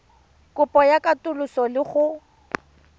kopo ya katoloso le go